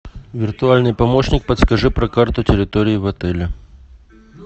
виртуальный помощник подскажи про карту территории в отеле